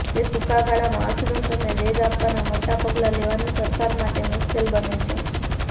તેથી ટૂંકા ગાળામાં અર્થતંત્રને વેગ આપવાનાં મોટાં પગલાં લેવાનું સરકાર માટે મુશ્કેલ બને છે